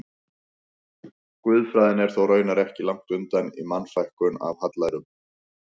Guðfræðin er þó raunar ekki langt undan í Mannfækkun af hallærum.